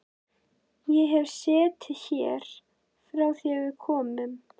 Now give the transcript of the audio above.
Ég hef setið hér frá því að við komum.